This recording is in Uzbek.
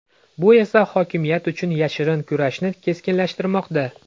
Bu esa hokimiyat uchun yashirin kurashni keskinlashtirmoqda.